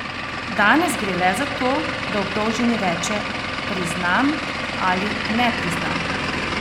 Danes gre le za to, da obdolženi reče: "Priznam" ali "Ne priznam".